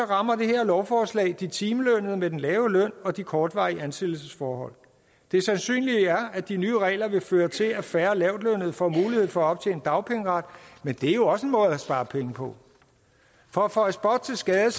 rammer det her lovforslag de timelønnede med den lave løn og de kortvarige ansættelsesforhold det sandsynlige er at de nye regler vil føre til at færre lavtlønnede får mulighed for at optjene dagpengeret men det er jo også en måde at spare penge på for at føje spot til skade